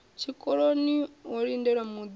tshikoloni ho lindelwa muunḓi a